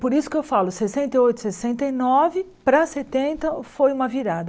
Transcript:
Por isso que eu falo, sessenta e oito, sessenta e nove para setenta foi uma virada.